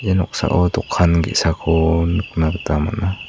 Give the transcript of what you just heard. ia noksao dokan ge·sako nikna gita man·a.